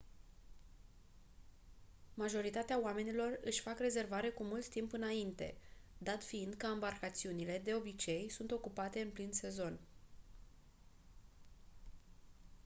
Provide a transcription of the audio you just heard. majoritatea oamenilor își fac rezervare cu mult timp înainte dat fiind că ambarcațiunile de obicei sunt ocupate în plin sezon